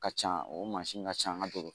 Ka ca o mansin ka ca an ka dɔgɔtɔrɔ